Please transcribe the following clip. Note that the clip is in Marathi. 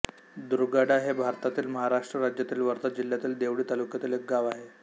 दुर्गाडा हे भारतातील महाराष्ट्र राज्यातील वर्धा जिल्ह्यातील देवळी तालुक्यातील एक गाव आहे